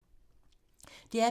DR P2